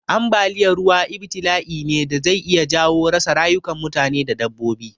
Ambaliya ruwa ibtila'i ne da zai iya jawo rasa rayukan mutane da dabbobi.